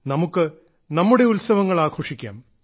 നമുക്ക് നമ്മുടെ ഉത്സവങ്ങൾ ആഘോഷിക്കാം